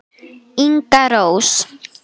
Inga Rós.